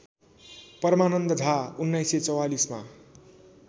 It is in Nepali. परमानन्द झा १९४४मा